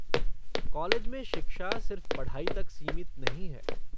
College में शिक्षा सिर्फ पढ़ाई तक सीमित नहीं है।